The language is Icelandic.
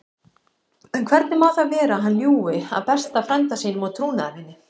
En hvernig má það vera að hann ljúgi að besta frænda sínum og trúnaðarvini?